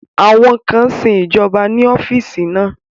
Àwọn kan sin ìjọba ní ọ́fíìsì náà